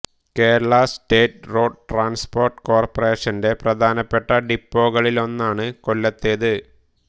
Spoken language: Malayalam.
കേരള സ്റ്റേറ്റ് റോഡ് ട്രാൻസ്പോർട്ട് കോർപ്പറേഷന്റെ പ്രധാനപ്പെട്ട ഡിപ്പോകളിലൊന്നാണ് കൊല്ലത്തേത്